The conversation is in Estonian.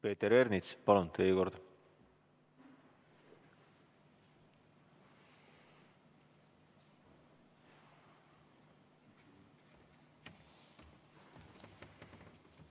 Peeter Ernits, palun, teie kord!